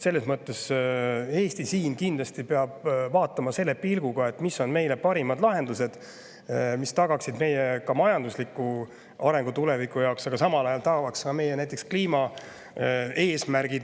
Selles mõttes peab Eesti kindlasti vaatama seda selle pilguga, mis on parimad lahendused, mis tagaksid meile majandusliku arengu tuleviku jaoks, aga samal ajal näiteks meie kliimaeesmärke.